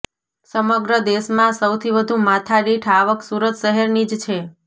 સમગ્ર દેશમા સૌથી વધુ માથાદીઠ આવક સુરત શહેરની જ છે